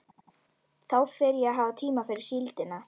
Þá fer ég að hafa tíma fyrir síldina.